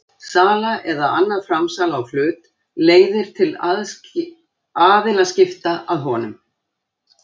Sala eða annað framsal á hlut leiðir til aðilaskipta að honum.